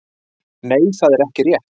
nei það er ekki rétt